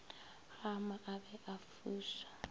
gama a be a fuša